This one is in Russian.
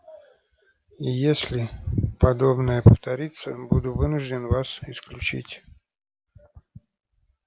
и если подобное повторится буду вынужден вас исключить